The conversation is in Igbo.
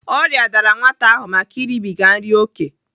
Ọrịa dara nwata ahụ make ịrịbịga nri oké.